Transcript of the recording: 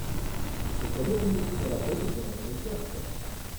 посоветуй мне киноработу жанр мультяшка